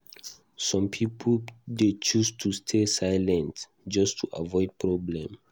Some pipo dey choose to stay silent just to avoid problem.